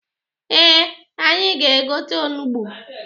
Ee, anyị ga-egote onugbu.